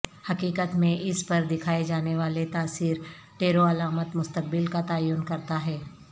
حقیقت میں اس پر دکھائے جانے والے تاثر ٹیرو علامت مستقبل کا تعین کرتا ہے